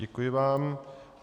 Děkuji vám.